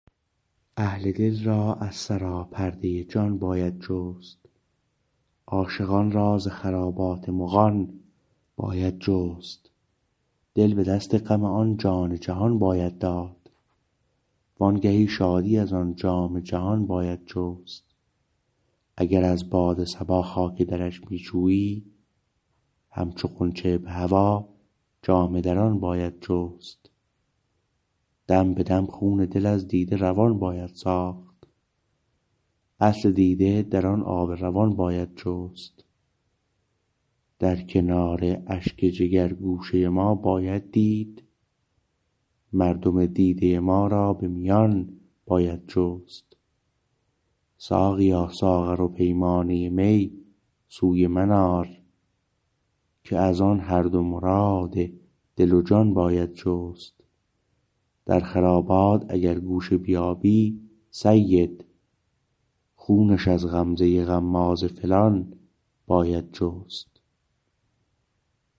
اهل دل را از سراپرده جان باید جست عاشقان را ز خرابات مغان باید جست دل به دست غم آن جان جهان باید داد وانگهی شادی از آن جام جهان باید جست اگر از باد صبا خاک درش می جویی همچو غنچه به هوا جامه دران باید جست دم به دم خون دل از دیده روان باید ساخت اصل دیده در آن آب روان باید جست در کنار اشک جگر گوشه ما باید دید مردم دیده ما را به میان باید جست ساقیا ساغر و پیمانه می سوی من آر که از آن هر دو مراد دل و جان باید جست در خرابات اگر گوشه بیابی سید خونش از غمزه غماز فلان باید جست